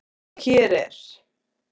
Og hér er